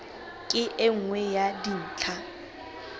ke e nngwe ya dintlha